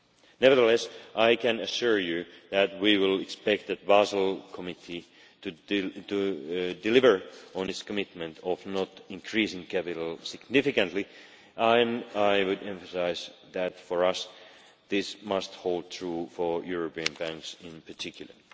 Nevertheless, I can assure you that we will expect the Basel Committee to deliver on its commitment of not increasing capital significantly. I would emphasise that, for us, this must hold true for European banks in particular.